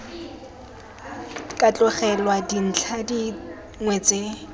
ka tlogelwa dintlha dingwe tse